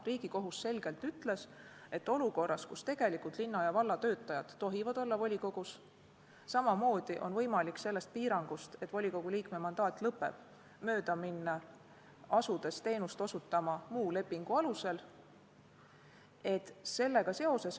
Riigikohus on selgelt öelnud, et olukorras, kus linna ja valla töötajad tohivad olla volikogus, on samamoodi võimalik sellest piirangust, et volikogu liikme mandaat lõpeb, mööda minna, asudes teenust osutama muu lepingu alusel.